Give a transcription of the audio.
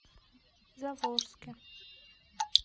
заволжске